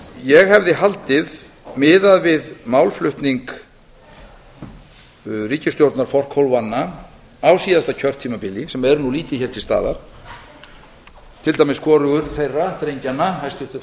ég hefði haldið miðað við málflutning ríkisstjórnarforkólfanna á síðasta kjörtímabili sem eru nú lítið hér til staðar til dæmis hvorugur þeirra drengjanna hæstvirtur